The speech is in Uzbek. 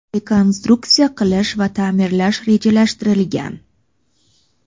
rekonstruksiya qilish va ta’mirlash rejalashtirilgan.